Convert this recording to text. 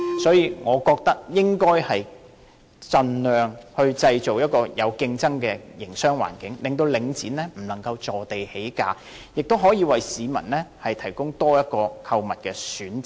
因此，我覺得應該盡量製造一個有競爭的營商環境，令領展不能坐地起價，也可以為市民提供多一個購物選擇。